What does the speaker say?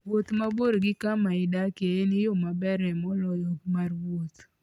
Wuoth mabor gi kama idakie en yo maberie moloyo mar wuoth.